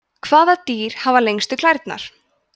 hvaða dýr hafa lengstu klærnar